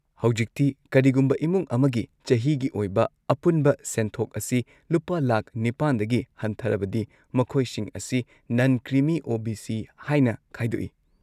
ꯍꯧꯖꯤꯛꯇꯤ, ꯀꯔꯤꯒꯨꯝꯕ ꯏꯃꯨꯡ ꯑꯃꯒꯤ ꯆꯍꯤꯒꯤ ꯑꯣꯏꯕ ꯑꯄꯨꯟꯕ ꯁꯦꯟꯊꯣꯛ ꯑꯁꯤ ꯂꯨꯄꯥ ꯂꯥꯈ ꯸ꯗꯒꯤ ꯍꯟꯊꯔꯕꯗꯤ, ꯃꯈꯣꯏꯁꯤꯡ ꯑꯁꯤ ꯅꯟ -ꯀ꯭ꯔꯤꯃꯤ ꯑꯣ.ꯕꯤ.ꯁꯤ. ꯍꯥꯏꯅ ꯈꯥꯏꯗꯣꯛꯏ ꯫